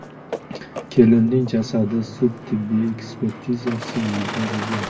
Kelinning jasadi sud-tibbiy ekspertizasiga yuborilgan.